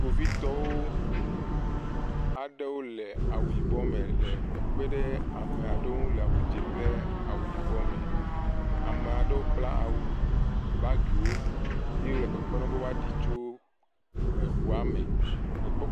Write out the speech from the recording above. Kpovitɔwo aɖewo le awu yibɔ me le kpekpem ɖe ame aɖewo ŋu le awu dzɛ kple awu yibɔ me. Ame aɖewo kpla awu bagiwo ye wole kpekpem be woɖo tso la.